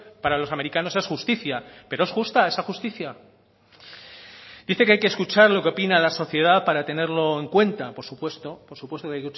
para los americanos es justicia pero es justa esa justicia dice que hay que escuchar lo que opina la sociedad para tenerlo en cuenta por supuesto por supuesto que